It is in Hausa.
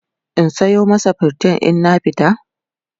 in Sayo masa pritin in na fita?